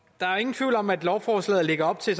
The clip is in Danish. er ingen tvivl om at lovforslaget lægger op til